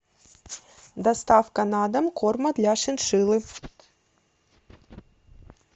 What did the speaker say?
доставка на дом корма для шиншиллы